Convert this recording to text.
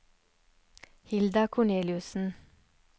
Hilda Korneliussen